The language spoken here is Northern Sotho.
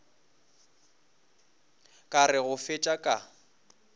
ka re go fetša ka